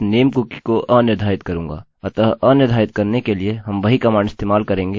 अतः अनिर्धारित करने के लिए हम वही कमांड इस्तेमाल करेंगे और वह है setcookie